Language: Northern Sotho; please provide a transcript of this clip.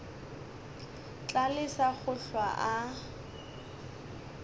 tla lesa go hlwa a